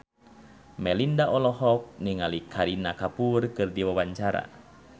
Melinda olohok ningali Kareena Kapoor keur diwawancara